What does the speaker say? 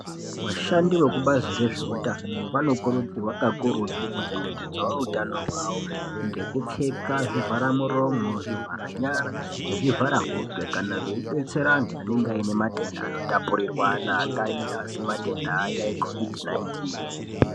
Vashandi vekubazi rezveutano vanokurudzirwa kakurutu kuchengetedzawo utano hwawo ngekupfeka zvivhara muromo zvivhara nyara nezvivhara hope kana vheibetsera vantu anenga ainematenda anotapurirwana akaita sematenda aya ecovid naitini